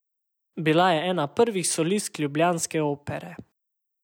Bila je ena prvih solistk ljubljanske Opere.